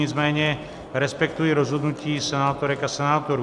Nicméně respektuji rozhodnutí senátorek a senátorů.